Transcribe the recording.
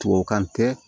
Tuwawukan tɛ